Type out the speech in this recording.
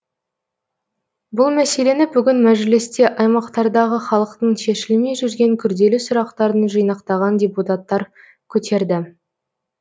бұл мәселені бүгін мәжілісте аймақтардағы халықтың шешілмей жүрген күрделі сұрақтарын жинақтаған депутаттар көтерді